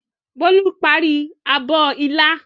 Bólú parí abọ́ ilá.